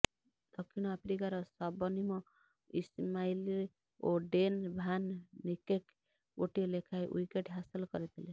ଦକ୍ଷିଣ ଆଫ୍ରିକାର Shabnim Ismail ଓ ଡେନ୍ ଭାନ୍ ନିକେର୍କ ଗୋଟିଏ ଲେଖାଏ ୱିକେଟ୍ ହାସଲ କରିଥିଲେ